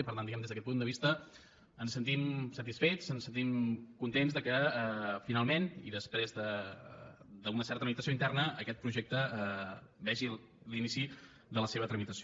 i per tant diguemne des d’aquest punt de vista ens sentim satisfets ens sentim contents que finalment i després d’una certa meditació interna aquest projecte vegi l’inici de la seva tramitació